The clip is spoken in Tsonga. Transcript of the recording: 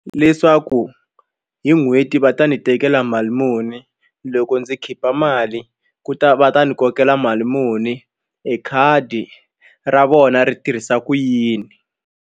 Leswaku hi n'hweti va ta ni tekela mali muni loko ndzi khipha mali ku ta va ta ni kokela mali muni ekhadi ra vona ri tirhisa ku yini.